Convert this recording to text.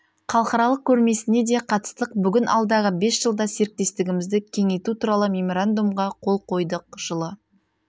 халықарылық көрмесіне де қатыстық бүгін алдағы бес жылда серіктестігімізді кеңейту туралы меморандумға қол қойдық жылы